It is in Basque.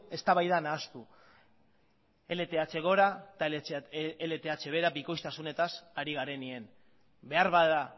eztabaida nahastu lth gora eta lth behera bikoiztasunetaz ari garenean beharbada